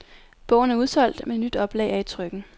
Bogen er udsolgt, men et nyt oplag er i trykken.